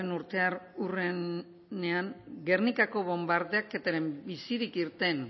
urteurrenean gernikaren bonbardaketan bizirik irten